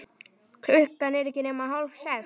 Klukkan ekki nema hálf sex.